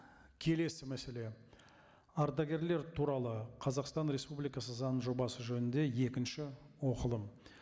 келесі мәселе ардагерлер туралы қазақстан республикасы заң жобасы жөнінде екінші оқылым